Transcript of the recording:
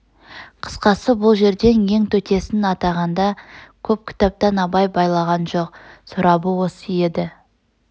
қысқасы бұл жерден ең төтесін атағанда көп кітаптан абай байлаған жол сорабы осы еді